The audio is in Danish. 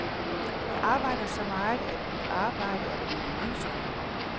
Jeg arbejder så meget, at mit arbejde er blevet en livsstil.